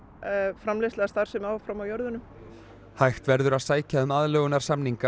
framleiðsla eða starfsemi áfram á jörðunum hægt verður að sækja um aðlögunarsamninga